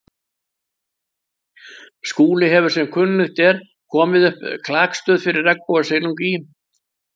Skúli hefur sem kunnugt er komið upp klakstöð fyrir regnbogasilung í